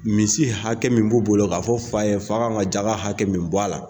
Misi hakɛ min b'u bolo k'a fɔ fa ye fa' ka kan ka jaga hakɛ min bɔ a la.